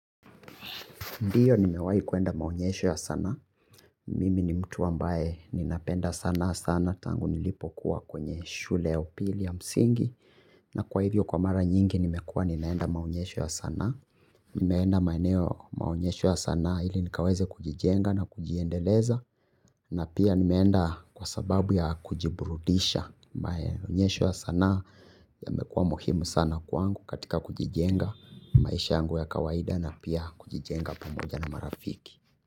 Ndiyo nimewahi kuenda maonyesho ya sana. Mimi ni mtu ambaye ni napenda sana sana. Tangu nilipo kuwa kwenye shule ya upili ya msingi. Na kwa hivyo kwa mara nyingi nimekuwa ninaenda maonyesho ya sana. Nimeenda maeneo maonyesho ya sana ili nikaweze kujijenga na kujiendeleza. Na pia nimeenda kwa sababu ya kujiburudisha. Maonyesho ya sana yamekuwa muhimu sana kwangu katika kujijenga maisha yangu ya kawaida na pia kujijenga pamoja na marafiki.